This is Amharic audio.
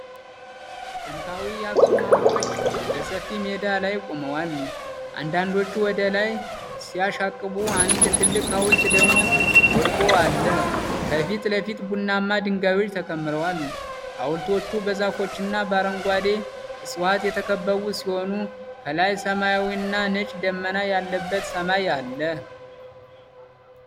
ጥንታዊ የአክሱም ሐውልቶች በሰፊ ሜዳ ላይ ቆመዋል፤ አንዳንዶቹ ወደ ላይ ሲያሻቅቡ፣ አንድ ትልቅ ሐውልት ደግሞ ወድቆ አለ። ከፊት ለፊት ቡናማ ድንጋዮች ተከምረዋል። ሐውልቶቹ በዛፎችና በአረንጓዴ ዕፅዋት የተከበቡ ሲሆኑ፣ ከላይ ሰማያዊና ነጭ ደመና ያለበት ሰማይ አለ።